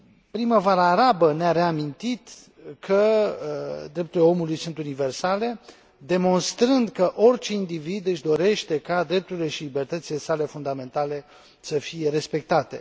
Primăvara arabă ne a reamintit că drepturile omului sunt universale, demonstrând că orice individ își dorește ca drepturile și libertățile sale fundamentale să fie respectate.